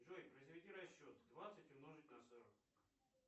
джой произведи расчет двадцать умножить на сорок